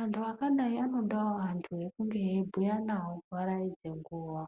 Antu akadai anodawo antu ekunge eibhuya navo kuvaraidze nguwa.